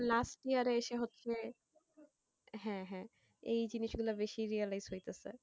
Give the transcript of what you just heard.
last year এ এসে হচ্ছে হ্যাঁ হ্যাঁ এই জিনিসগুলো বেশি realize হইতেছে।